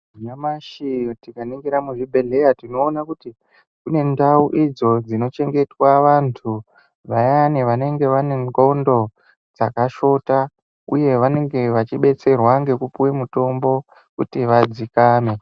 Nyamashi tikaningira muzvibhedhleya tinoona kuti kune ndau idzo dzinochengetwa antu vayani vanenge vane ndxondo dzakashota uye vanenge vachibetserwa ngekupuwe mutombo kuti vadzikame.